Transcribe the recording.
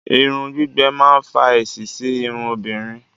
Irun gbígbẹ máa ń fa èéṣí sí irun obìnrin